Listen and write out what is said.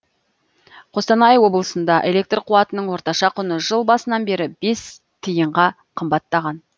қостанай облысында электр қуатының орташа құны жыл басынан бері бес тиынға қымбаттаған